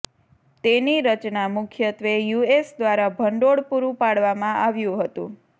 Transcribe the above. તેની રચના મુખ્યત્વે યુએસ દ્વારા ભંડોળ પૂરું પાડવામાં આવ્યું હતું